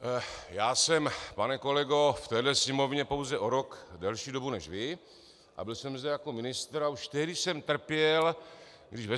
Já jsem, pane kolego, v téhle Sněmovně pouze o rok delší dobu než vy a byl jsem zde jako ministr a už tehdy jsem trpěl, když ve